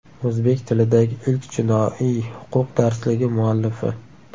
O‘zbek tilidagi ilk jinoiy huquq darsligi muallifi.